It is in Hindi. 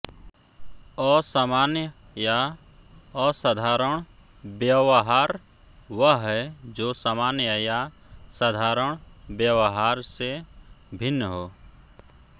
असामान्य या असाधारण व्यवहार वह है जो सामान्य या साधारण व्यवहार से भिन्न हो